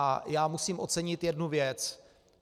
A já musím ocenit jednu věc.